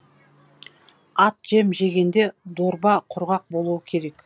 ат жем жегенде дорба құрғақ болуы керек